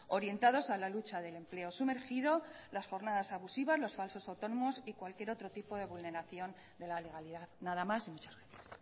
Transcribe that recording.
orientados a la lucha del empleo sumergido las jornadas abusivas los falsos autónomos y cualquier otro tipo de vulneración de la legalidad nada más y muchas gracias